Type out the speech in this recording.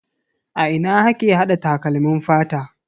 A ina ake hada takalmin fata?